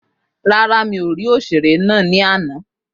Rárá, mi ò ní ákítọ̀ náà ní àná